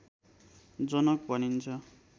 जनक भनिन्छ